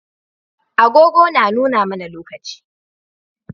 Agogo na nuna mAna lokaci